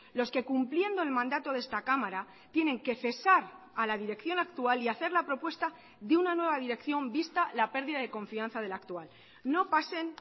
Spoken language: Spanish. los que cumpliendo el mandato de esta cámara tienen que cesar a la dirección actual y hacer la propuesta de una nueva dirección vista la pérdida de confianza de la actual no pasen